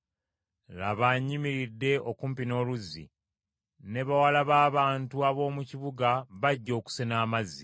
Laba nnyimiridde okumpi n’oluzzi, ne bawala b’abantu ab’omu kibuga bajja okusena amazzi.